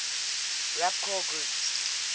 rapcore groups